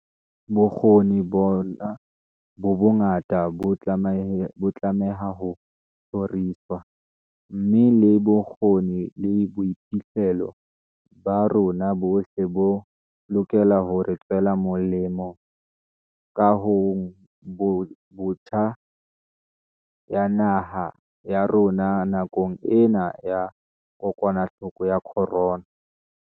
Bokgoni bona bo bongata bo tlameha ho tjhoriswa, mme le bokgoni le boiphihlelo ba rona bohle bo lokela hore tswela molemo kahongbotjha ya naha ya rona nakong ena ya kokwanahloko ya corona.